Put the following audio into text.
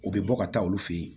U bɛ bɔ ka taa olu fe yen